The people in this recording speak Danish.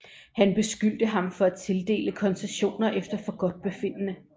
Han beskyldte ham for at tildele koncessioner efter forgodtbefindende